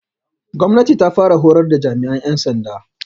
Gwamnati ta fara horar da jami'an yan sanda